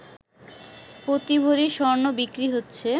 প্রতি ভরি স্বর্ণ বিক্রি হচ্ছে